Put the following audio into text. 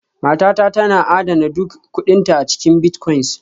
Matata tana adana duk kuɗinta a cikin bitcoins